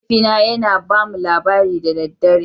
Mahaifina yana ba mu labari da dare